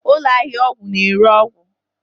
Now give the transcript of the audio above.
Ụlọ ahịa ọgwụ na-ere ọgwụ